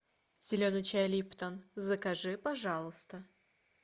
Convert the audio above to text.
зеленый чай липтон закажи пожалуйста